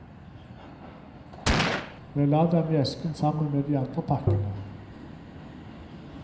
Jeg la dem i esken sammen med de andre pakkene.